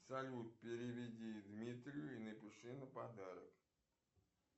салют переведи дмитрию и напиши на подарок